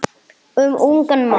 Um ungan mann.